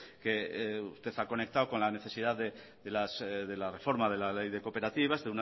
que usted ha conectado con la necesidad de la reforma de la ley de cooperativas